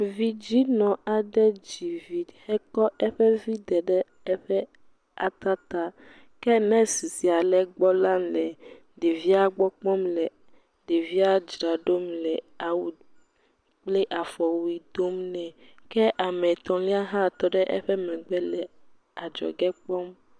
Vidzinɔ aɖe dzivi he kɔ eƒe vi daɖe atata, ke nurse sia le egbɔ la, le ɖevia gbɔ kpɔm le ɖevia dzram ɖo le awu kple afɔwuie dom ne kea me etɔlia hã tɔ ɖe eƒe megbe hele adzɔgɔ kpɔm.